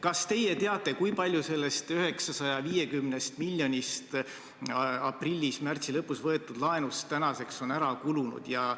Kas teie teate, kui palju sellest 950 miljonist aprillis ja märtsi lõpus võetud laenust tänaseks on ära kulunud?